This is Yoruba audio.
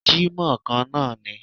Jímọ̀ kan náà ni